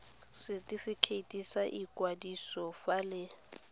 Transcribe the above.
setifikeiti sa ikwadiso fa le